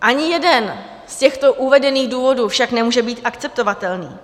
Ani jeden z těchto uvedených důvodů však nemůže být akceptovatelný.